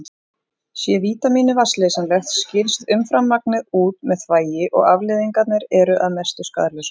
Sé vítamínið vatnsleysanlegt skilst umframmagnið út með þvagi og afleiðingarnar eru að mestu skaðlausar.